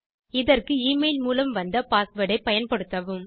இதற்கு எமெயில் மூலம் வந்த பாஸ்வேர்ட் ஐ பயன்படுத்தவும்